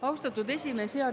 Austatud esimees!